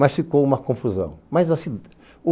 Mas ficou uma confusão.